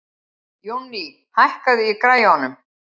Jónný, hækkaðu í græjunum.